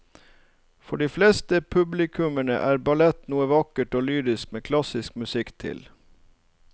For de fleste publikummere er ballett noe vakkert og lyrisk med klassisk musikk til.